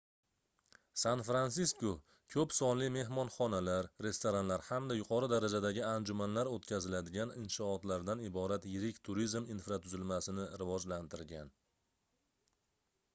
san-fransisko koʻp sonli mehmonxonalar restoranlar hamda yuqori darajadagi anjumanlar oʻtkaziladigan inshootlardan iborat yirik turizm infratuzilmasini rivojlantirgan